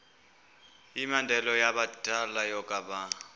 yimianelo yabadala yokaba